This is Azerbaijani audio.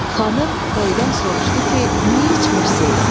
Xanım bəydən soruşdu ki, niyə içmirsiz?